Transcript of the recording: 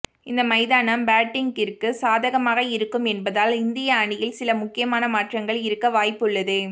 இந்த மைதானம் பேட்டிங்கிற்கு சாதகமாக இருக்கும் என்பதால் இந்திய அணியில் சில முக்கியமான மாற்றங்கள் இருக்க வாய்ப்புள்ளது